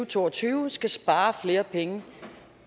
to og tyve skal spare flere penge